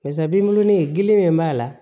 Barisa binkuru ni gele min b'a la